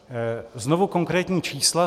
Znovu konkrétní čísla.